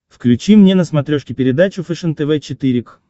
включи мне на смотрешке передачу фэшен тв четыре к